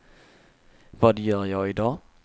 vad gör jag idag